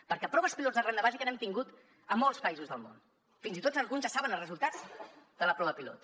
perquè proves pilot de renda bàsica n’hem tingut a molts països del món fins i tot alguns ja saben els resultats de la prova pilot